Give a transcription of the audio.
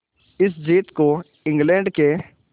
इस जीत को इंग्लैंड के